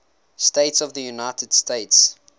states of the united states